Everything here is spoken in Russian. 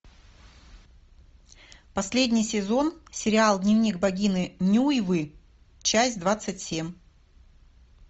последний сезон сериал дневник богини нюйвы часть двадцать семь